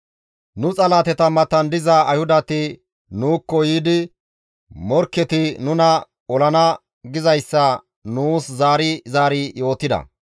Nu morketa matan diza Ayhudati nuukko yiidi morkketi nuna olana gizayssa nuus zaari zaari yootida.